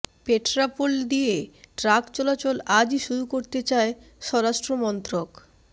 পেট্রাপোল দিয়ে ট্রাক চলাচল আজই শুরু করতে চায় স্বরাষ্ট্রমন্ত্রক